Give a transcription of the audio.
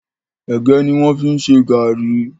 Ègé ni wọn fi ń ṣe gàárì